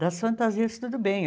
Das fantasias, tudo bem.